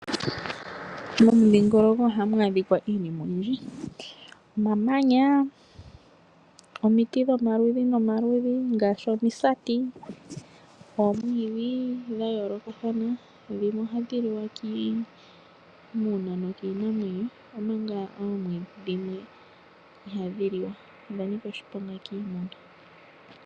Momidhingoloko ohamu adhika iinima oyindji omamanya, omiti dhomaludhi nomaludhi ngaashi omisati, oomwidhi dha yoolokathana dhimwe ohadhi liwa kiimuna nokiinamwenyo omanga oomwiidhi dhimwe ihadhi liwa odha nika oshiponga kiimuna.